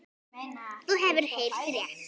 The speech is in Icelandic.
Þú hefur heyrt rétt.